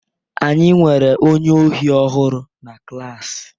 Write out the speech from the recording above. Anyị nwere onye ohi ọhụrụ na klas.